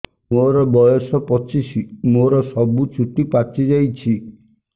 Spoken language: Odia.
ମୋର ବୟସ ପଚିଶି ମୋର ସବୁ ଚୁଟି ପାଚି ଯାଇଛି